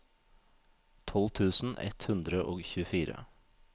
tolv tusen ett hundre og tjuefire